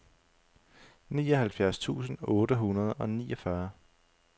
nioghalvfjerds tusind otte hundrede og niogfyrre